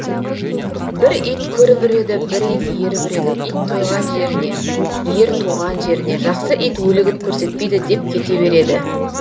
бір ит көріп үреді бір ит еріп үреді ит тойған жеріне ер туған жеріне жақсы ит өлігін көрсетпейді деп кете береді